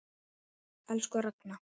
Elsku Ragna.